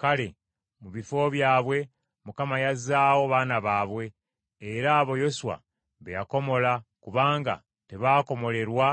Kale mu bifo byabwe Mukama yazzaawo baana baabwe era abo Yoswa be yakomola kubanga tebaakomolerwa